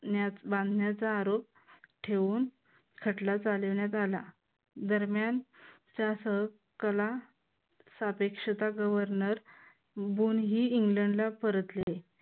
न्यात बांधण्याचा आरोप ठेवून खटला चालवण्यात आला. दरम्यानचा सहकला सापेक्षता गव्हर्नर बोन ही इंग्लंडला परतले.